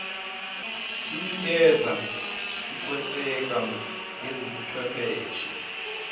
lunikeza ukweseka ngezobuchwepheshe